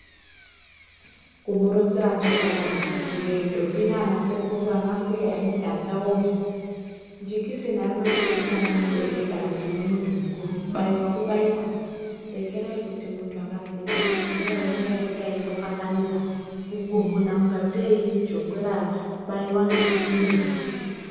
Kumuronzera chokwadi akiti woye ntombo nanasekuru, ana mbuya emuganga, jekiseni Arina kuti urimwana mudodori kana uri muntu mukuru, kubaiwa kubaiwa. Rekerai kuti muntu akazi enda kucbibhehlera unombopota echikakamira, kuguhuna kungatei ijongwe rabaiwa ngesimbe.